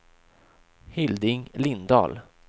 Hilding Lindahl